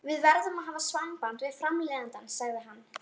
Við verðum að hafa samband við framleiðandann, sagði hann.